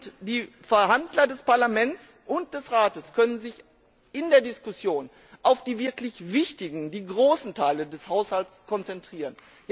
Und die Verhandler des Parlaments und des Rates können sich in der Diskussion auf die wirklich wichtigen, großen Teile des Haushalts konzentrieren.